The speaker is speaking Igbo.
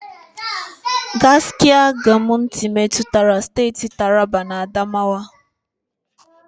Gashaka-Gumti metụtara steeti Taraba na Adamawa.